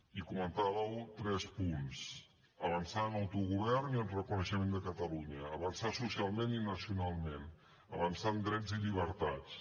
i comentàveu tres punts avançar en autogovern i en reconeixement de catalunya avançar socialment i nacionalment avançar en drets i llibertats